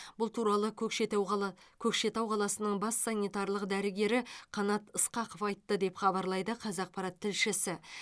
бұл туралы көкшетау қала көкшетау қаласының бас санитарлық дәрігері қанат ысқақов айтты деп хабарлайды қазақпарат тілшісі